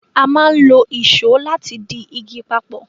A máa n lo Ìṣó láti dì ìgi papọ